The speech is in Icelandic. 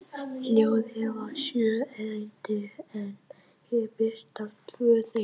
Ljóðið var sjö erindi en hér birtast tvö þeirra: